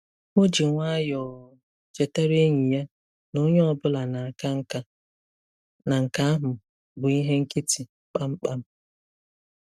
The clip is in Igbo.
O ji nwayọọ chetaara enyi ya na onye ọ bụla na-aka nka, na nke ahụ bụ ihe nkịtị kpamkpam.